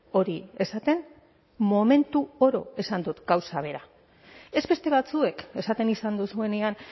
hori esaten momentu oro esan dut gauza bera ez beste batzuek esaten izan duzuenean